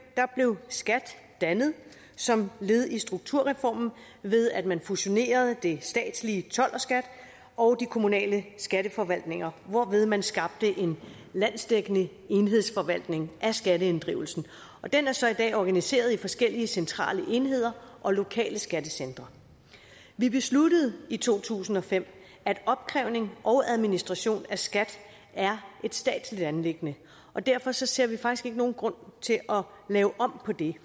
blev skat dannet som led i strukturreformen ved at man fusionerede det statslige told og skat og de kommunale skatteforvaltninger hvorved man skabte en landsdækkende enhedsforvaltning af skatteinddrivelsen og den er så i dag organiseret i forskellige centrale enheder og lokale skattecentre vi besluttede i to tusind og fem at opkrævning og administration af skat er et statsligt anliggende og derfor ser vi faktisk ikke nogen grund til at lave om på det